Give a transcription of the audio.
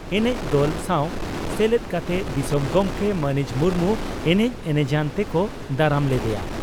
ᱮᱱᱮᱡ ᱫᱚᱞ ᱥᱟᱣ ᱥᱮᱞᱮᱫ ᱠᱟᱛᱮ ᱫᱤᱥᱚᱢ ᱜᱚᱢᱠᱮ ᱢᱟᱹᱱᱤᱡ ᱢᱩᱨᱢᱩ ᱮᱱᱮᱡ ᱮᱱᱮᱡᱟᱱ ᱛᱮᱠᱚ ᱫᱟᱨᱟᱢ ᱞᱮᱫᱮᱭᱟ ᱾